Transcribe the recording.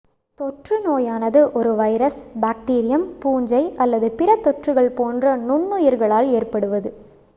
தொற்று நோயானது ஒரு வைரஸ் பேக்டீரியம் பூஞ்சை அல்லது பிற தொற்றுகள் போன்ற நுண்ணுயிர்களால் ஏற்படுவது